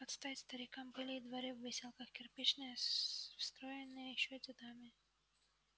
под стать старикам были и дворы в выселках кирпичные строенные ещё дедами